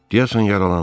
Deyəsən yaralanıb.